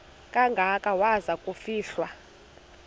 kangaka waza kufihlwa